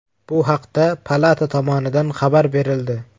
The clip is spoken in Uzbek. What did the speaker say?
Bu haqda palata tomonidan xabar berildi .